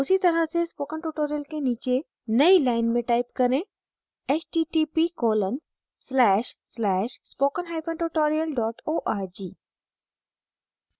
उसी तरह से spoken tutorial के नीचे नयी लाइन में type करें